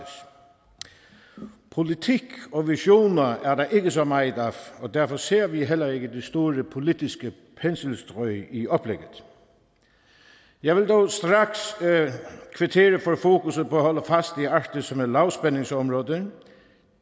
politik og visioner er der ikke så meget af og derfor ser vi heller ikke de store politiske penselstrøg i oplægget jeg vil dog straks kvittere for fokuset på at holde fast i arktis som et lavspændingsområde